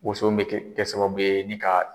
Woson bɛ kɛ kɛ sababu ye ni ka